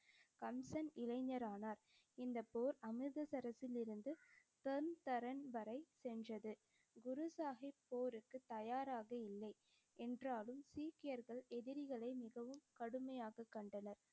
கம்சன் இளைஞர் ஆனார். இந்தப் போர் அமிர்தசரஸிலிருந்து வரை சென்றது. குரு சாஹிப் போருக்குத் தயாராக இல்லை என்றாலும் சீக்கியர்கள் எதிரிகளை மிகவும் கடுமையாகக் கண்டனர்.